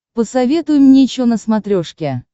посоветуй мне че на смотрешке